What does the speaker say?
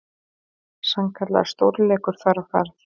Sannkallaður stórleikur þar á ferð.